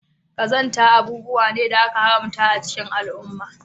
Qazanta abubuwa ne da aka haramta a cikin al'umma